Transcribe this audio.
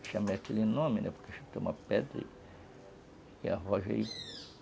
Eu chamei aquele nome, né, porque eu tinha uma pedra e arrojei.